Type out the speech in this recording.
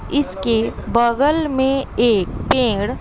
इसके बगल में एक पेड़--